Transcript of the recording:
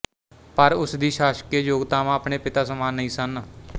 ਪਰ ਉਸ ਦੀ ਸ਼ਾਸਕੀਏ ਯੋਗਤਾਵਾਂ ਆਪਣੇ ਪਿਤਾ ਸਮਾਨ ਨਹੀਂ ਸਨ